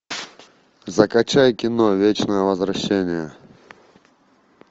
закачай кино вечное возвращение